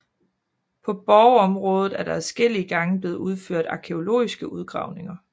På borgområdet er der adskillige gange blevet udført arkæologiske udgravninger